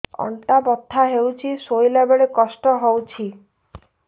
ଅଣ୍ଟା ବଥା ହଉଛି ଶୋଇଲା ବେଳେ କଷ୍ଟ ହଉଛି